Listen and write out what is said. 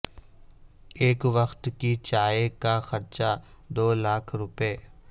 ایک وقت کی چائے کا خرچہ دو لاکھ روپے